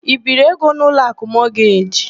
I biiri ego n' Ụlọakụ Mọgeji?